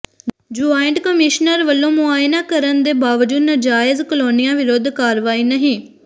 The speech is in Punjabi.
ਜੁਆਇੰਟ ਕਮਿਸ਼ਨਰ ਵੱਲੋਂ ਮੁਆਇਨਾ ਕਰਨ ਦੇ ਬਾਵਜੂਦ ਨਾਜਾਇਜ਼ ਕਾਲੋਨੀਆਂ ਵਿਰੁੱਧ ਕਾਰਵਾਈ ਨਹੀਂ